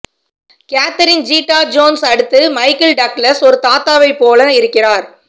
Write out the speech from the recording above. Catherine Zeta Jones அடுத்து Michael Douglas ஒரு தாத்தாவைப் போல இருக்கிறார்